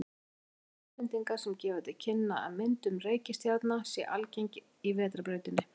Við höfum vísbendingar sem gefa til kynna að myndun reikistjarna sé algeng í Vetrarbrautinni.